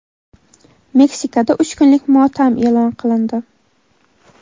Meksikada uch kunlik motam e’lon qilindi.